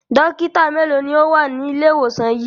Dọ́kítá mélòó ni ó wà ní ilé-ìwòsàn yìí?